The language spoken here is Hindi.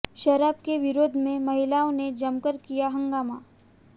शराब के विरोध में महिलाओं ने जमकर किया हंगामा